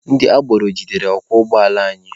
Ndị agboro jidere ọkwọ ụgbọala anyị.